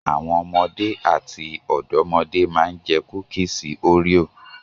Àwọn ọmọdé àti ọ̀dọ́mọdé máa ń jẹ kúísì òréò.